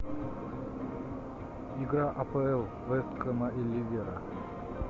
игра апл вест хэма и ливера